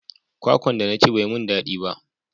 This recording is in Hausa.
Kwakwan da na ci bai mun dadi ba